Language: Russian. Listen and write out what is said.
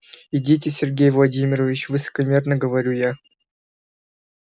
идите сергей владимирович высокомерно говорю я